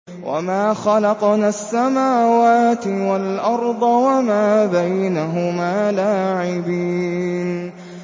وَمَا خَلَقْنَا السَّمَاوَاتِ وَالْأَرْضَ وَمَا بَيْنَهُمَا لَاعِبِينَ